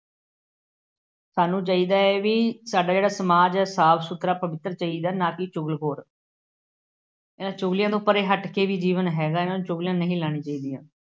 ਸਾਨੂੰ ਚਾਹੀਦਾ ਹੈ ਬਈ ਸਾਡਾ ਜਿਹੜਾ ਸਮਾਜ ਹੈ ਸਾਫ ਸੁਥਰਾ ਪਵਿੱਤਰ ਚਾਹੀਦਾ ਨਾ ਕਿ ਚੁਗਲਖੋਰ ਇਹਨਾ ਚੁਗਲੀਆਂ ਤੋਂ ਵੀ ਪਰੇ ਹੱਟ ਕੇ ਵੀ ਜੀਵਨ ਹੈਗਾ, ਚੁਗਲੀਆਂ ਨਹੀਂ ਲਾਉਣੀਆਂ ਚਾਹੀਦੀਆਂ।